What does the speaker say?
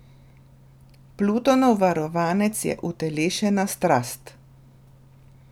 Plutonov varovanec je utelešena strast.